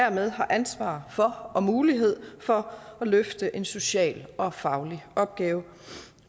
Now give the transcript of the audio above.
hermed har ansvar for og mulighed for at løfte en social og faglig opgave